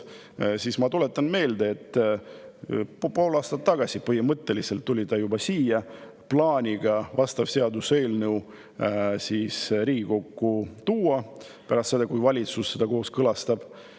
Ma tuletan meelde, et juba pool aastat tagasi tuli ta siia plaaniga vastav seaduseelnõu Riigikokku tuua, kui valitsus selle on kooskõlastanud.